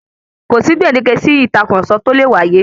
Kòsí gbèndéke sí ìtàkurọ̀sọ tó lè wáyé.